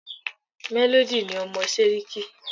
Melody ni ọmọ Séríkí